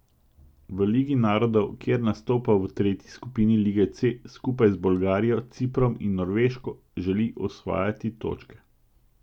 V ligi narodov, kjer nastopa v tretji skupini lige C skupaj z Bolgarijo, Ciprom in Norveško, želi osvajati točke.